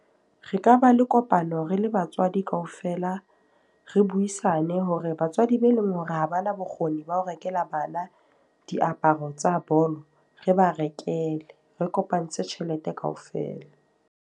Re ka ba le kopano re le batswadi ka ofela. Re buisane hore batswadi be leng hore ha bana bokgoni ba ho rekela bana diaparo tsa bolo, re ba rekele. Re kopantse tjhelete kaofela.